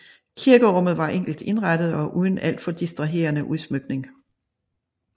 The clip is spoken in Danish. Kirkerummet var enkelt indrettet og uden alt for distraherende udsmykning